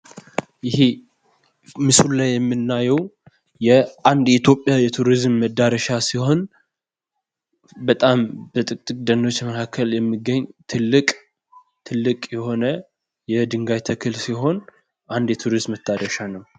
ይህ ምስል ላይ የምንመለከተው የኢትዮጵያ ቱሪዝም መዳረሻ ሲሆን በጫካዎች መካከል የሚገኝ አንድ የድንጋይ ተራራ አለው። የቱሪስት መዳረሻ ነው።